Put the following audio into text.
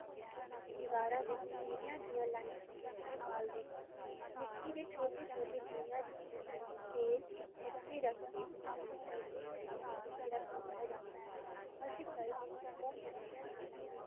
ਦੀਵਾਰਾਂ ਵਿੱਚ ਦੀਵਿਆਂ ਦੀਆਂ ਲਾਇਨਾਂ ਬਣਾ ਕੇ ਬਾਲਦੇ ਹਨ, ਮਿੱਟੀ ਦੇ ਛੋਟੇ ਛੋਟੇ ਦੀਵਿਆਂ ਵਿੱਚ ਤੇਲ, ਬੱਤੀ ਰੱਖ ਕੇ ਉਹਨਾਂ ਨੂੰ ਪਹਿਲੇ ਹੀ line ਵਿੱਚ ਰੱਖ ਦਿੱਤਾ ਜਾਂਦਾ ਹੈ, ਅੱਜ ਕੱਲ੍ਹ ਮੋਮਬੱਤੀਆਂ ਦੀ line